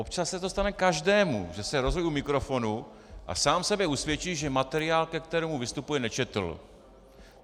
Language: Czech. Občas se to stane každému, že se rozhovoří u mikrofonu a sám sebe usvědčí, že materiál, ke kterému vystupuje, nečetl.